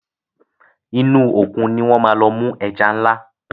inú Òkun ní wón má lọ mú ẹja nla.